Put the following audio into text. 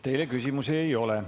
Teile küsimusi ei ole.